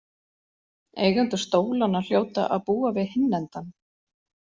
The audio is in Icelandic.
Eigendur stólanna hljóta að búa við hinn endann